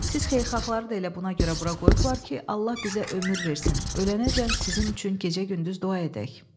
Siz xeyirxahları da elə buna görə bura qoyublar ki, Allah bizə ömür versin, ölənəcən sizin üçün gecə-gündüz dua edək.